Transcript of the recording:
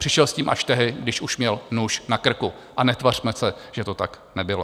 Přišel s tím až tehdy, když už měl nůž na krku, a netvařme se, že to tak nebylo.